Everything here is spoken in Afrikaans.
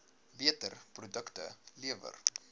beter produkte lewer